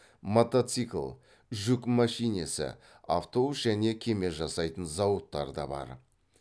мотоцикл жүк мәшинесі автобус және кеме жасайтын зауыттар да бар